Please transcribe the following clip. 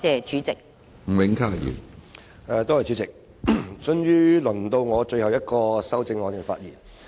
主席，終於到我就最後一項修正案發言。